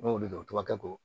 An m'olu dɔn o tɔgɔkɛ ko